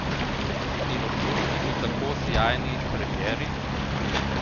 In občutki po tako sijajni premieri?